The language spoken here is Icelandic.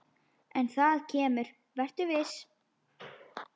En það kemur, vertu viss.